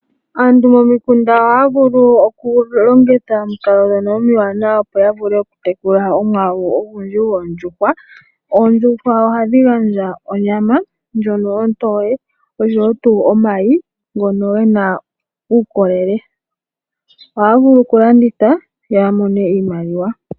Aantu momikunda ohaya vulu okulongitha omikalo dhono omiwana opo yavule okutekula omwaalu ogundji goondjuhwa. Oondjuhwa ohadhi gandja onyama ndjono ontoye osho woo omayi ngono gena uukolele. Ohaya vulu okulanditha yo yamone iimaliwa.